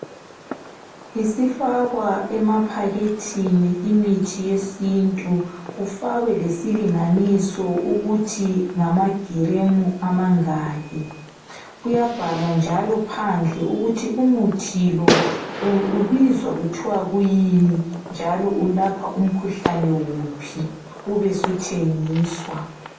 Isifakwa emaphakethini imithi yesintu kufakwe lesilinganiso ukuthi ngama giremu amangaki. Kuyabhalwa njalo phandle ukuthi umuthi lo ubizwa kuthiwa kuyini njalo ulapha umkhuhlane wuphi, ube suthengiswa.